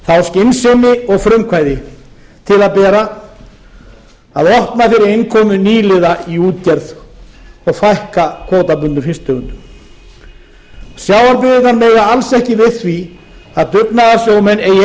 þá skynsemi og frumkvæði til að bera að opna fyrir innkomu nýliða í útgerð fækka kvótabundnum fisktegundum sjávarbyggðirnar mega alls ekki við því að dugnaðarsjómenn eigi